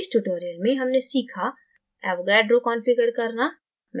इस tutorial में हमने सीखा